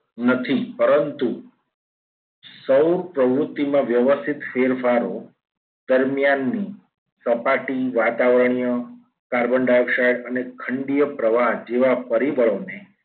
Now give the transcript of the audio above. નથી. પરંત સૌ પ્રવૃત્તિમાં વ્યવસ્થિત ફેરફારો દરમિયાનની સપાટી વાતાવરણીય કાર્બન ડાયોક્સાઇડ અને ખંડીય પ્રવાહ જેવા પરિબળોને